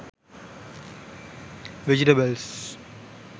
vegetables